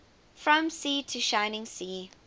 from sea to shining sea